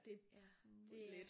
Ja det er